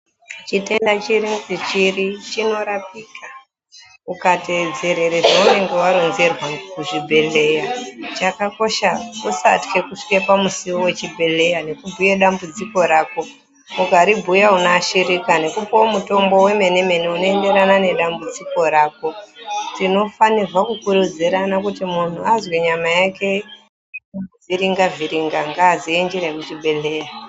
Chitenda chiri ngechiri chinorapika uka teedzerere zveunonga waronzerwa kuzvi bhedhleya. Chakakosha kusatye kusvika pamusiwo wechibhedhleya nekubhuye dambudziko rako. Ukaribhuya unoashirika nekupuwa mutombo wemenemene unoenderana nedambudziko rako. Tinofanirwa kukurudzirana kuti muntu azwe nyama yake kumuvhiringa-vhiringa ngaaziye njira yeku chibhedhleya.